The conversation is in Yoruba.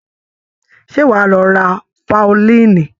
Ṣé wàá lọ ra faolíìnì?